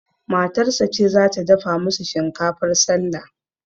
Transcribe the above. Matarsa ce zata dafa musu shinkafar sallah